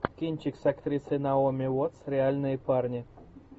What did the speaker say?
кинчик с актрисой наоми уоттс реальные парни